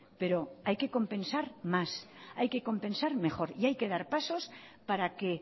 pero hay que compensar más hay que compensar mejor y hay que dar pasos para que